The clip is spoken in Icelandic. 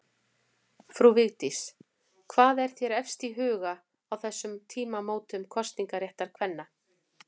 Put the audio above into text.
Frú Vigdís, hvað er þér efst í huga á þessum tímamótum kosningaréttar kvenna?